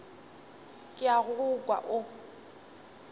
ke a go kwa o